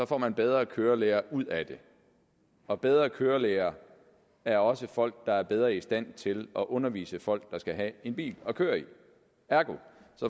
får man bedre kørelærere ud af det og bedre kørelærere er også folk der er bedre i stand til at undervise folk der skal have en bil at køre i ergo